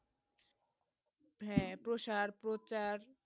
হেঁ প্রসার প্রচার